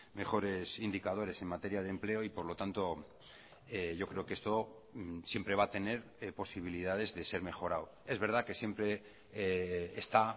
mejores indicadores en materia de empleo y por lo tanto yo creo que esto siempre va a tener posibilidades de ser mejorado es verdad que siempre está